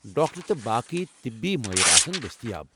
Doctor تہٕ باقٕے طبی مٲہِر آسَن دٔستِیاب۔